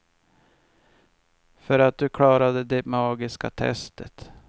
För att du klarade det magiska testet.